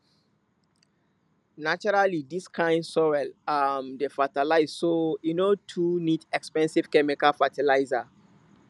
naturally dis kind soil um dey fertile so e no too need expensive chemical fertilizers